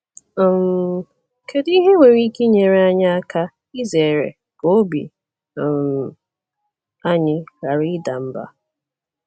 um Kedu ihe nwere ike inyere anyị aka izere ka obi um anyị ghara ịda mba?